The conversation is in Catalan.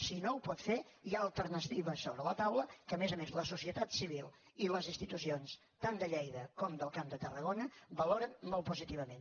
si no ho pot fer hi ha alternatives sobre la tau·la que a més a més la societat civil i les institucions tant de lleida com del camp de tarragona valoren molt positivament